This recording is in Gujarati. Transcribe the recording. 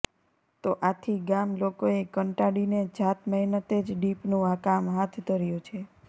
તો આથી ગામ લોકોએ કંટાડીને જાત મહેનતે જ ડીપનું કામ હાથ ધર્યું છે